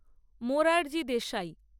Morarji Desai